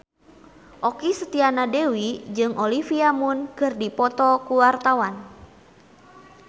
Okky Setiana Dewi jeung Olivia Munn keur dipoto ku wartawan